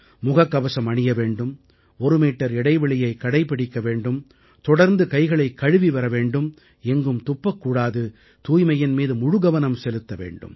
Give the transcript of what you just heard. முகக்கவசம் அணிய வேண்டும் ஒரு மீட்டர் இடைவெளியைக் கடைப்பிடிக்க வேண்டும் தொடர்ந்து கைகளைக் கழுவி வர வேண்டும் எங்கும் துப்பக்கூடாது தூய்மையின் மீது முழு கவனம் செலுத்த வேண்டும்